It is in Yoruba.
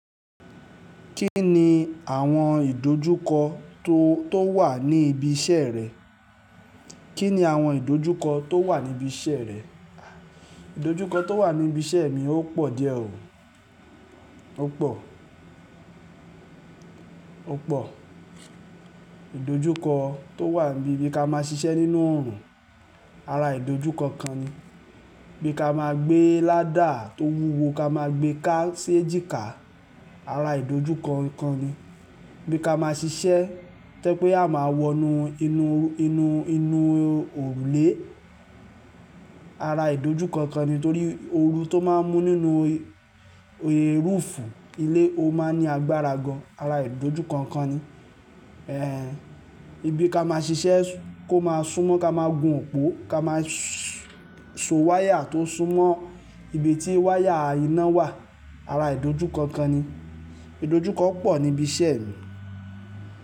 Kí ni àwọn ìdojúkọ tó, tó wà ní ibi iṣẹ́ rẹ? Kí ni àwọn ìdojúkọ tó wà níbi iṣẹ́ rẹ? Ìdojúkọ tó wà níbi iṣẹ́ mi ó pọ̀ díẹ̀ o. Ó pọ̀, ó pọ̀. Ìdojúkọ tó wà ní bí ka máa ṣiṣẹ́ nínú oòrùn, ara ìdojúkọ kan ni. Bí ka máa gbé ládà tó wúwo, ká máa gbé ká sí èjìká, ara ìdojúkọ kan ni. Bí ka máa ṣiṣẹ́, tó jẹ́ pé a máa wọnú inú, inú, inú, inú òrùlé, ara ìdojúkọ kan ni. Nítorí ooru tó máa ń mú nínú, er, roof ilé, ó máa ń ní agbára gan-an, ara ìdojúkọ kan ni. Eh, ibi ka máa ṣiṣẹ́ kó máa súnmọ́ ká máa gun òpó, ká máa sọ wáyà tó ń súnmọ́ ibi tí wáyà iná wà, ara ìdojúkọ kan ni. Ìdojúkọ pọ̀ níbi iṣẹ́ mi.